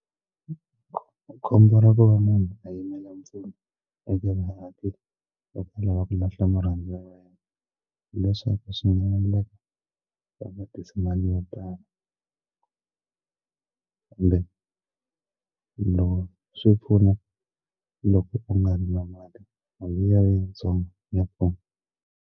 Khombo ra ku va munhu a yimela mpfuno eka lava ku lahla murhandziwa wa yena hileswaku swi nga endleka va vakise mali yo tala kumbe loko swi pfuna loko u nga ri na mali mali liya yitsongo ya pfuna.